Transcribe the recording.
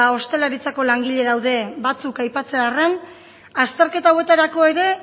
ostalaritzako langile daude batzuk aipatzearren azterketa hauetarako ere